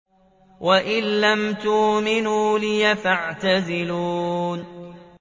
وَإِن لَّمْ تُؤْمِنُوا لِي فَاعْتَزِلُونِ